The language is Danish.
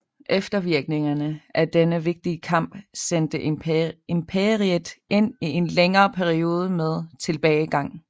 Eftervirkningerne af denne vigtige kamp sendte imperiet ind i en længere periode med tilbagegang